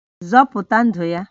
Zọpụta ndụ ya!